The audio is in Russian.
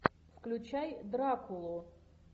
включай дракулу